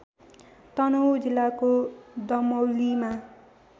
तनहुँ जिल्लाको दमौलीबाट